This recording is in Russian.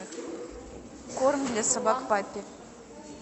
корм для собак паппи